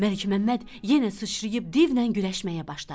Məlikməmməd yenə sıçrayıb divlə güləşməyə başladı.